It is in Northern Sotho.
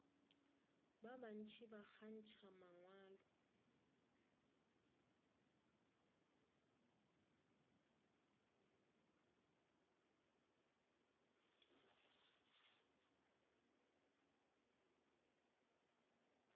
ba bantši ba kgantšha mangwalo